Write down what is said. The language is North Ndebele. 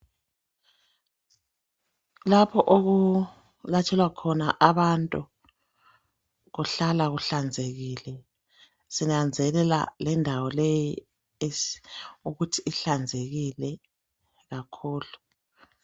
Lapho okulatshelwa khona abantu kuhlala kuhlanzekile sinanzelela lendawo leyi ukuthi ihlanzekile kakhulu.